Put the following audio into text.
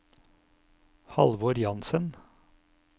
Halvor Jansen